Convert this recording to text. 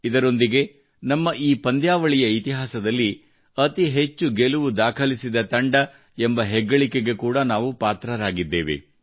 ಇದರೊಂದಿಗೆ ನಮ್ಮ ಈ ಪಂದ್ಯಾವಳಿಯ ಇತಿಹಾಸದಲ್ಲಿ ಅತಿ ಹೆಚ್ಚು ಗೆಲುವು ದಾಖಲಿಸಿದ ತಂಡ ಎಂಬ ಹೆಗ್ಗಳಿಕೆಗೆ ಕೂಡಾ ನಾವು ಪಾತ್ರರಾಗಿದ್ದೇವೆ